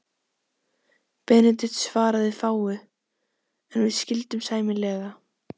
Benedikt svaraði fáu, en við skildum sæmilega.